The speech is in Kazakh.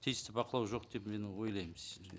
тиісті бақылау жоқ деп мен ойлаймын